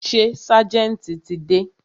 Ṣé ságẹ̀ntì ti dé?